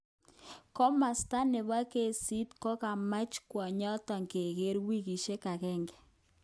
Komosta nebo kesit kokamach kwonyoton keger wikishek aeng.